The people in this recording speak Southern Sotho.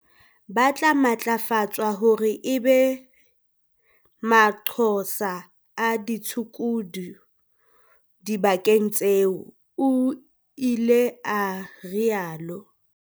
"Ba tla matlafatswa hore e be manqosa a ditshukudu dibakeng tseo," o ile a rialo.